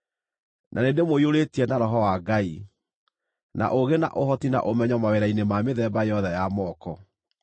na nĩndĩmũiyũrĩtie na Roho wa Ngai, na ũũgĩ na ũhoti na ũmenyo mawĩra-inĩ ma mĩthemba yothe ya moko;